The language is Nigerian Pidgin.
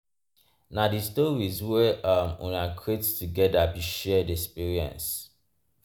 na di stories wey um una create togeda be shared experience.